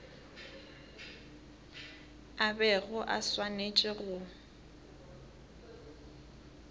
a bego a swanetše go